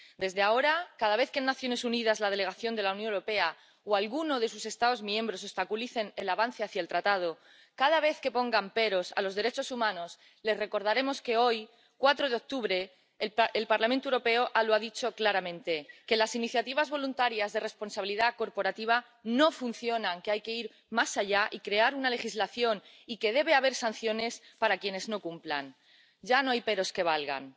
Desde ahora, cada vez que en las Naciones Unidas la delegación de la Unión Europea o alguno de sus Estados miembros obstaculicen el avance hacia el tratado, cada vez que pongan peros a los derechos humanos, les recordaremos que hoy, 4 de octubre, el Parlamento Europeo lo ha dicho claramente las iniciativas voluntarias de responsabilidad corporativa no funcionan, hay que ir más allá y crear una legislación y debe haber sanciones para quienes no cumplan. Ya no hay peros que valgan.